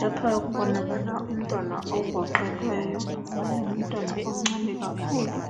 Lapha kubonakala umntwana ogoqelweyo. Ngumntwana omncane kakhulu